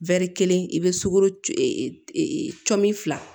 kelen i bɛ sukoro cin fila